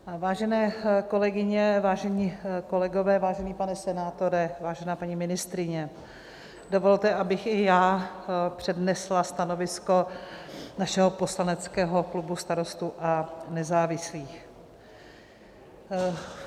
Vážené kolegyně, vážení kolegové, vážený pane senátore, vážená paní ministryně, dovolte, abych i já přednesla stanovisko našeho poslaneckého klubu Starostů a nezávislých.